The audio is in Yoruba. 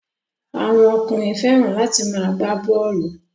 Àwọn ọkùnrin fẹ́ràn láti máa gbá bọ́ọ́lù.